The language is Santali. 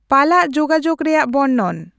ᱯᱟᱞᱟᱜ ᱡᱳᱜᱟᱡᱳᱜ ᱨᱮᱭᱟᱜ ᱵᱚᱨᱱᱚᱱ